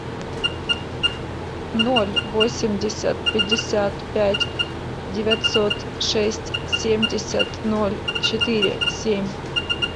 ноль восемьдесят пятьдесят пять девятьсот шесть семьдесят ноль четыре семь